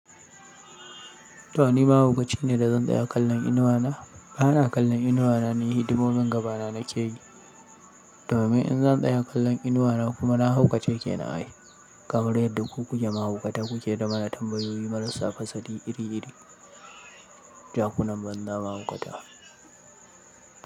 To ni mahaukaci ne da zan tsaya kallon inuwa na? Ba na kallon inuwa na ne hidimomin gaba na nake yi. Domin in zan tsaya kallon inuwa na kuma na haukace ke nan ai. Kamar yadda ku kuke mahaukata kuke ta mana tambayoyi marassa fasali iri-iri. Jakunan banza mahaukata.